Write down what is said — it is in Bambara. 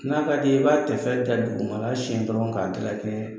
N'a ka di i ye i b'a tɛfɛ da dugumana siɲɛ dɔrɔn k'a dilakɛɲɛ